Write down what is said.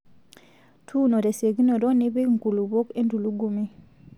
Tuuno tesiokinito nipik nkulupuok entulugumi.